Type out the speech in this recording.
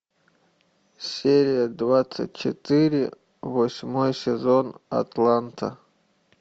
серия двадцать четыре восьмой сезон атланта